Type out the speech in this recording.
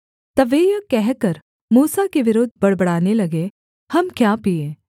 तब वे यह कहकर मूसा के विरुद्ध बड़बड़ाने लगे हम क्या पीएँ